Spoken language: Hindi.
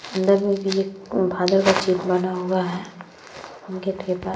अंदर मे भी फादर का चित्र बना हुआ है। --